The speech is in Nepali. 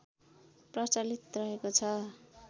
प्रचलित रहेको छ